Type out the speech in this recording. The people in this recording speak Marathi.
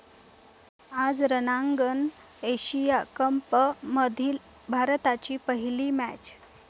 आज रंगणार एशिया कपमधली भारताची पहिली मॅच